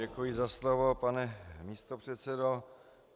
Děkuji za slovo, pane místopředsedo.